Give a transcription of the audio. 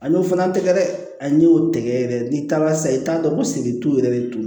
A y'o fana tɛgɛ dɛ a n y'o tɛgɛ yɛrɛ n'i taara sa i t'a dɔn ko sigitu yɛrɛ de tun don